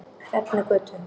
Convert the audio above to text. Hrefnugötu